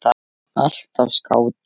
Alltaf skáti.